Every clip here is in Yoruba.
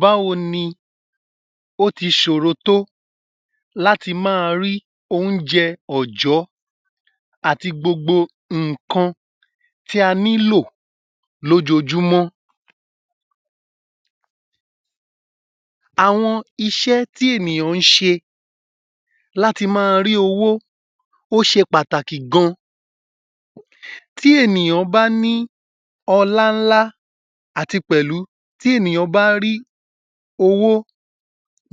Báwo ní o ti ṣòro tó láti máa rí oúnjẹ ọ̀jọ́ àti gbogbo nǹkan tí a nílò lójoojúmọ́? Àwọn iṣẹ́ tí ènìyàn ń ṣe láti máa rí owó ó ṣe pàtàkì gan-an. Tí ènìyàn bá ní ọlá ńlá àti pẹ̀lú tí ènìyàn bá rí owó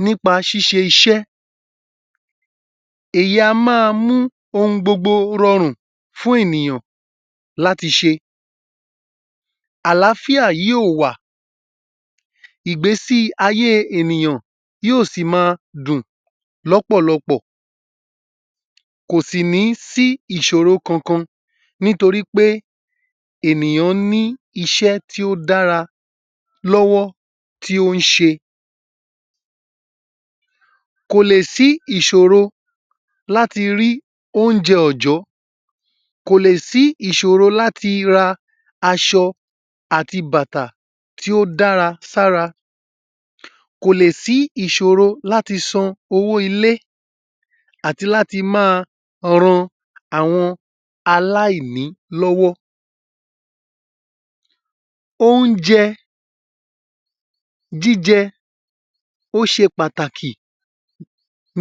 nípa ṣíṣe iṣẹ́, èyí á máa mú ohun gbogbo rọrùn fún ènìyàn láti ṣe. Àlàáfíà yóò wà, ìgbésí ayé ènìyàn yóò sí máa dùn lọ́pọ̀lọpọ̀ kò sì ní sí ìṣòro kankan nítorí pé ènìyàn ní iṣẹ́ tó dára lọ́wọ́ tí ó ṣe. Kò lè sí ìṣòro láti rí oúnjẹ ọ̀jọ́. Kò lè sí ìṣòro láti ra aṣọ àti bàtà tó dára sí ara. Kò lè sí ìṣòro láti san owó ilé àti láti máa ran àwọn aláìní lọ́wọ́. Oúnjẹ jíjẹ ó ṣe pàtàkì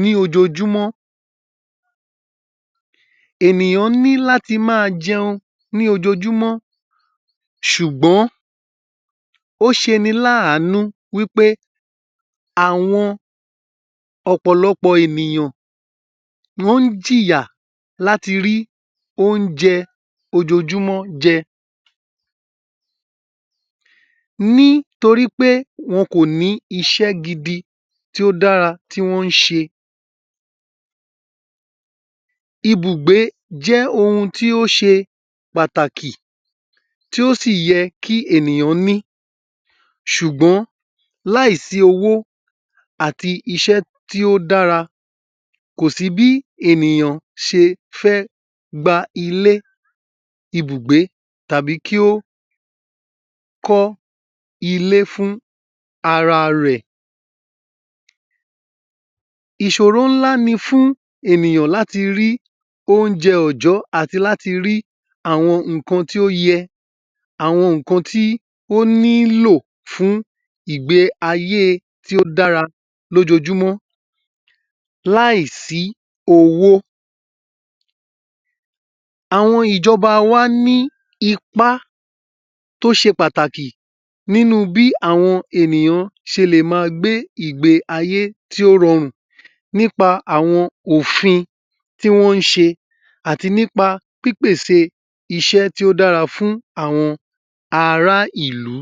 ní ojoojúmọ́. Ènìyàn ní láti máa jẹun ní ojoojúmọ́ ṣùgbọ́n ó ṣe ni láànú wí pé àwọn ọ̀pọ̀lọpọ̀ ènìyàn wọ́n jìyà láti rí oúnjẹ ojoojúmọ́ jẹ nítorí pé wọ́n kò ní iṣẹ́ gidi tó dára tí wọn ń ṣe. Ìbúgbé jẹ́ ohun tí ó ṣe pàtàkì tí o sì yẹ kí ènìyàn ní ṣùgbọ́n láìsí owó àti iṣẹ́ tí ó dára kò sí bí ènìyàn ṣe fẹ́ gba ilé ìbùgbé tàbí kí ó kọ́ ilé fún ara rẹ̀. Ìṣòro ńlá ní fún ènìyàn láti rí oúnjẹ ọ̀ọ̀jọ́ àti láti rí àwọn nǹkan tí o yẹ, àwọn nǹkan tí ó nílò fún ìgbé ayé tí ó dára lójoojúmọ́ láìsí owó. Àwọn ìjọba wa ní ipá tó ṣe pàtàkì nínú bí àwọn ènìyàn ṣe lè máa gbé ìgbé ayé tó rọrùn nípa àwọn òfin tí wọn ń sẹ àti nípa pípèsè iṣẹ́ tó dára fún àwọn ara ìlú.